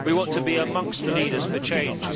We want to be amongst the leaders for change.